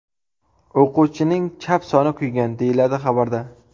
O‘quvchining chap soni kuygan”, deyiladi xabarda.